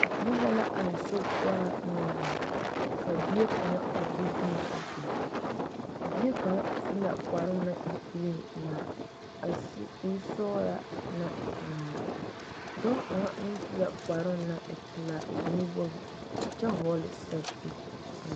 Gbeni la zeŋ a teŋa soɔ ka lɔsɔglaa kaŋ a meŋ are nasaleba be la a lɔɛ poɔ dɔɔ kaŋ yi wa zeŋ la a lɔɛ nimitɔɔreŋ a dɔɔ su la kparoo naŋ e sɔgelaa ŋmaa kyɛ seɛ kuri meŋ wogi